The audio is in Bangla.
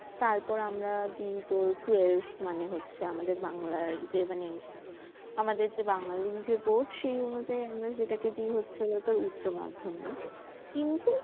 তারপর আমরা দি তোর twelve মানে হচ্ছে আমাদের বাংলার যে মানে আমাদের যে বাঙালি যে board সেই অনুযায়ি আমরা যেটাকে দি হচ্ছে গিয়ে তোর উচ্চমাধ্যমিক কিন্তু